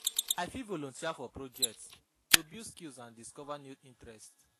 I fit volunteer for projects to build skills and discover new interests.